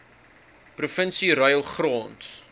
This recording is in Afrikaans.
provinsie ruil grond